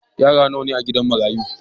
Yara nawa ne a'gidan marayan?